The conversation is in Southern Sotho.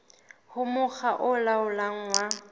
ho mokga o laolang wa